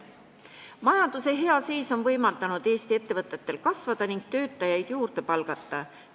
Majanduse hea seis on võimaldanud Eesti ettevõtetel kasvada ning töötajaid juurde palgata.